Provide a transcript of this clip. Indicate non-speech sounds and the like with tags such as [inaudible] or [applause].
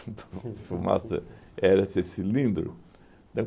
[laughs] fumaça era esse cilindro. [unintelligible]